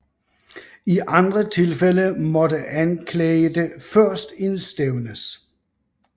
I andre tilfælde måtte anklagede først indstævnes